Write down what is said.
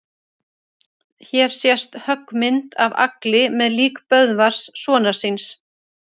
Hér sést höggmynd af Agli með lík Böðvars sonar síns.